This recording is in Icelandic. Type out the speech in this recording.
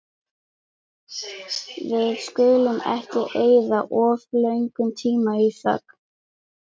Við skulum ekki eyða of löngum tíma í þögn.